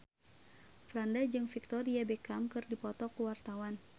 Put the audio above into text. Franda jeung Victoria Beckham keur dipoto ku wartawan